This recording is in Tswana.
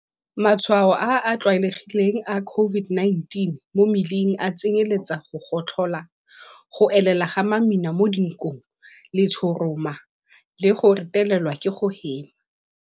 Matshwao a a tlwaelegileng a COVID-19 mo mmeleng a tsenyeletsa go gotlhola, go elela ga mamina mo dinkong, letshoroma le go retelelwa ke go hema.